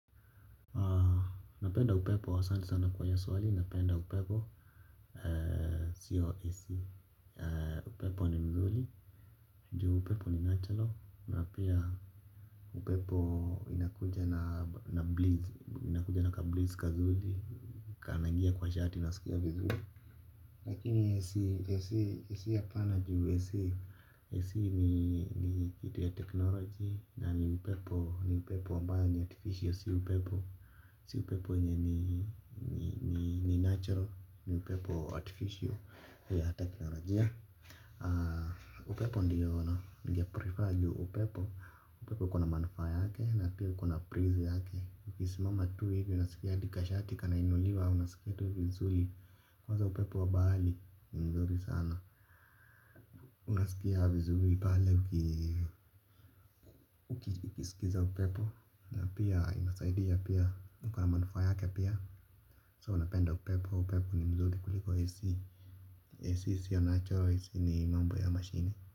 Napenda upepo asanti sana kwa hiyo swali, napenda upepo. Sio AC. Upepo ni mzuli. Juu upepo ni natural. Na pia upepo inakuja na breeze. Inakuja na kabreeze kazuri. Kanangia kwa shati naskia vizuri. Lakini AC hapana juu AC, AC ni kitu ya technology. Na ni upepo, ni upepo ambayo ni artificial, si upepo. Si upepo yenye ni natural, ni upepo artificial, ya teknolojia. Upepo ndiyo ningeprefer ju upepo. Upepo kuna manufaa yake, na pia kuna breeze yake. Ukisimama tu hivi, unasikia hadi kashati kanainuliwa, unasikia tui vizuri. Kwanza upepo wa bahari ni nzuri sana. Unasikia vizuri pale ukii ukisikiza upepo. Na pia inasaidi pia iko na manufaa yake pia So napenda upepo. Upepo ni mzuri kuliko AC AC siyo natural AC ni mambo ya machine.